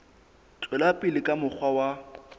tswela pele ka mokgwa wa